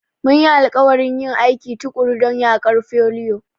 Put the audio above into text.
Mun yi alƙawarin yin aiki tuƙuru don yaƙar foliyo.